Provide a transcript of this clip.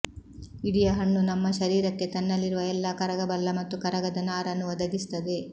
ಇಡಿಯ ಹಣ್ಣು ನಮ್ಮ ಶರೀರಕ್ಕೆ ತನ್ನಲ್ಲಿರುವ ಎಲ್ಲ ಕರಗಬಲ್ಲ ಮತ್ತು ಕರಗದ ನಾರನ್ನು ಒದಗಿಸುತ್ತದೆ